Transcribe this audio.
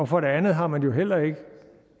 for det andet har man jo heller ikke